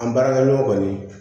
An baarakɛɲɔgɔn kɔni